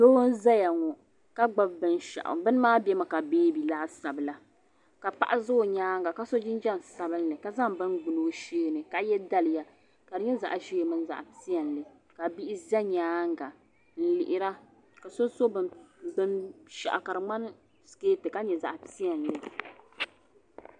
Doo n zaya ŋɔ ka gbibi binshaɣu bini maa bemi ka beebi laasabu la ka paɣa za o nyaanga ka so jinjiɛm sabinli ka zaŋ bini gbini o sheeni ka ye daliya ka di nyɛ zaɣa ʒee mini zaɣa piɛlli ka bihi za nyaanga n lihira ka so so binshaɣu ka di ŋmani siketi ka nyɛ zaɣa piɛlli.